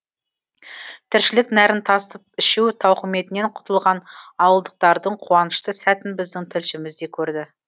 тіршілік нәрін тасып ішу тауқыметінен құтылған ауылдықтардың қуанышты сәтін біздің тілшіміз де көрді